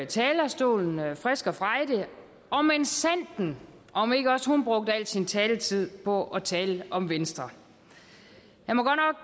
talerstolen frisk og frejdig og minsandten om ikke også hun brugte al sin taletid på at tale om venstre